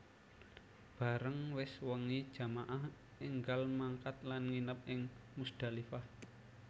Bareng wis wengi jamaah énggal mangkat lan nginep ing Muzdalifah